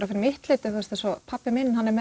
fyrir mitt leyti eins og pabbi minn hann er